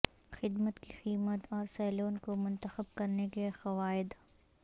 خدمت کی قیمت اور سیلون کو منتخب کرنے کے قواعد